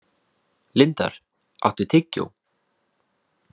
Lindar, áttu tyggjó?